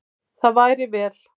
Það væri vel.